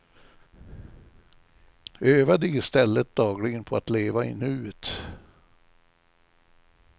Öva dig i stället dagligen på att leva i nuet.